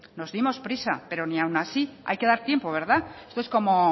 nos dimos prisa pero ni aun así hay que dar tiempo esto es como